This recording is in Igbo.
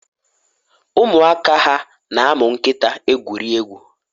umuaka ha na umu nkita egwuri egwu?